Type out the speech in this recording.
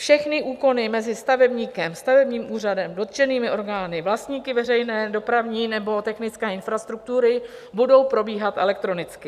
Všechny úkony mezi stavebníkem, stavebním úřadem, dotčenými orgány, vlastníky veřejné dopravní nebo technické infrastruktury budou probíhat elektronicky.